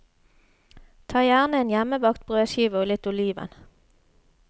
Ta gjerne en hjemmebakt brødskive og litt oliven.